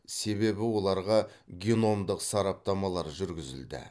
себебі оларға геномдық сараптамалар жүргізілді